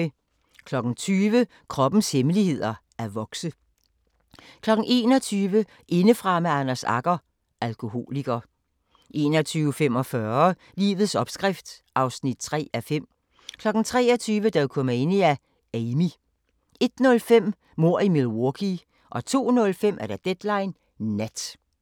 20:00: Kroppens hemmeligheder: At vokse 21:00: Indefra med Anders Agger – Alkoholiker 21:45: Livets opskrift (3:5) 23:00: Dokumania: Amy 01:05: Mord i Milwaukee 02:05: Deadline Nat